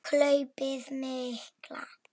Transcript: Hlaupið mikla